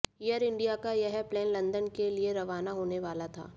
air India का यह plane London के लिए रवाना होने वाला था